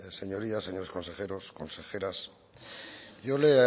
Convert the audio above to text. señorías señores consejeros consejeras yo le